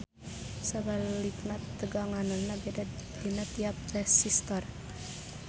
Sabalikna teganganana beda dina tiap resistor.